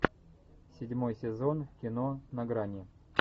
седьмой сезон кино на грани